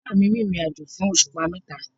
Bàbáà mi rìnrìnàjò fún òṣùpá mẹ́ta.